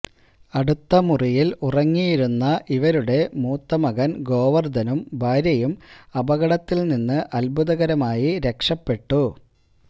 അടുത്ത മുറിയിൽ ഉറങ്ങിയിരുന്ന ഇവരുടെ മൂത്ത മകൻ ഗോവർധനും ഭാര്യയും അപകടത്തിൽനിന്ന് അത്ഭുതകരമായി രക്ഷപ്പെട്ടു